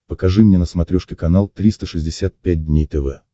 покажи мне на смотрешке канал триста шестьдесят пять дней тв